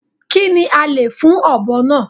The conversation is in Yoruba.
Kí ni a lè fún ọ̀bọ náà.